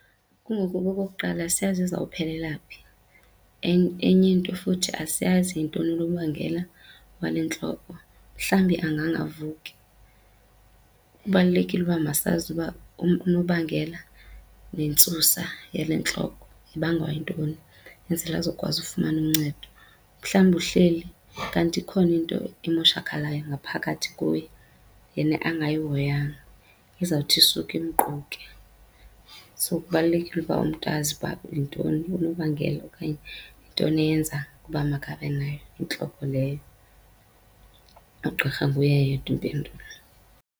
Kungoba okokuqala asiyazi izawuphelelwa phi. Enye into futhi asiyazi yintoni unobangela wale ntloko, mhlawumbi angangavuki. Kubalulekile ukuba masazi uba unobangela nentsusa yale ntloko ibangwa yintoni, enzele azokwazi ufumana uncedo. Mhlawumbi uhleli kanti ikhona into emoshakhalayo ngaphakathi kuye yena angayihoyanga ezawuthi isuke imquke. So kubalulekile uba umntu azi uba yintoni unobangela okanye yintoni eyenza uba makabe nayo intloko leyo, ugqirha nguye yedwa impendulo.